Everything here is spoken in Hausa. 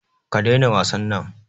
Ka daina wasan nan